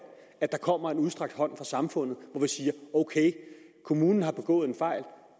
at der kommer en udstrakt hånd fra samfundet siger ok kommunen har begået en fejl